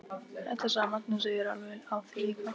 Þetta sagði Magnús og ég er alveg á því líka.